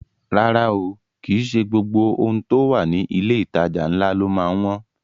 Rárá o, kìí ṣe gbogbo ohun tó wà ní ilé ìtajà ńlá ló má ń wọ́n